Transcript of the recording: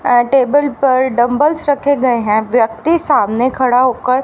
ॲ table पर dumbbells रखे गए हैं। व्यक्ति सामने खड़ा होकर--